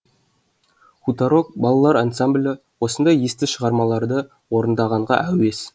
хуторок балалар ансамблі осындай есті шығармаларды орындағанға әуес